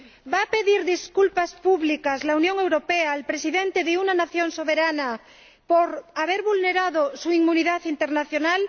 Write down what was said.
¿Va a pedir disculpas públicas la Unión Europea al Presidente de una nación soberana por haber vulnerado su inmunidad internacional?